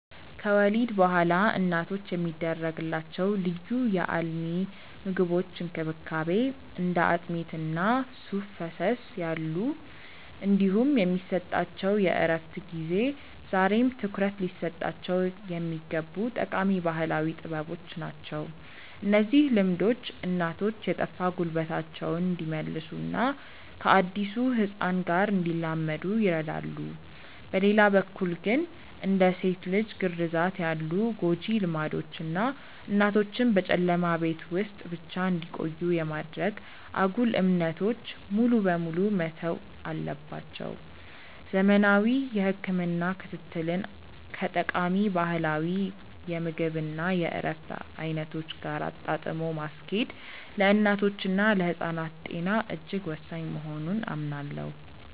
ከወሊድ በኋላ እናቶች የሚደረግላቸው ልዩ የአልሚ ምግቦች እንክብካቤ (እንደ አጥሚት እና ሱፍ ፈሰስ ያሉ) እንዲሁም የሚሰጣቸው የእረፍት ጊዜ ዛሬም ትኩረት ሊሰጣቸው የሚገቡ ጠቃሚ ባህላዊ ጥበቦች ናቸው። እነዚህ ልምዶች እናቶች የጠፋ ጉልበታቸውን እንዲመልሱና ከአዲሱ ህፃን ጋር እንዲላመዱ ይረዳሉ። በሌላ በኩል ግን፣ እንደ ሴት ልጅ ግርዛት ያሉ ጎጂ ልማዶች እና እናቶችን በጨለማ ቤት ውስጥ ብቻ እንዲቆዩ የማድረግ አጉል እምነቶች ሙሉ በሙሉ መተው አለባቸው። ዘመናዊ የህክምና ክትትልን ከጠቃሚ ባህላዊ የምግብ እና የእረፍት አይነቶች ጋር አጣጥሞ ማስኬድ ለእናቶችና ለህፃናት ጤና እጅግ ወሳኝ መሆኑን አምናለሁ።